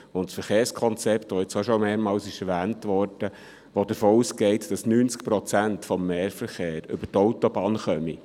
Das Verkehrskonzept, das bereits mehrmals erwähnt worden ist, geht davon aus, dass 90 Prozent des Mehrverkehrs über die Autobahn kommt.